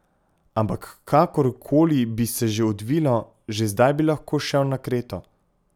Ampak kakor koli bi se že odvilo, že zdaj bi lahko šel na Kreto.